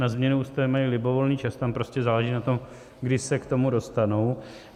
Na změnu ústavy mají libovolný čas, tam prostě záleží na tom, kdy se k tomu dostanou.